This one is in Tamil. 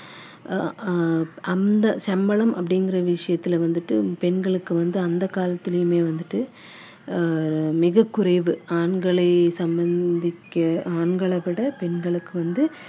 அந்த சம்பளம் அப்படிங்குற விஷயத்தில் வந்துட்டு பெண்களுக்கு வந்து அந்த காலத்திலயுமே வந்துட்டு அஹ் மிகக் குறைவு ஆண்களை திக்க ஆண்களை விட பெண்களுக்கு வந்து அஹ் ரொம்ப குறைவான